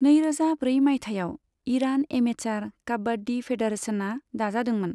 नैरोजा ब्रै माइथायाव ईरान एमेचार काबाड्डी फेडारेशनआ दाजादोंमोन।